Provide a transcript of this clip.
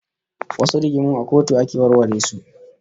Wasu rigingimun a kotu ake warware su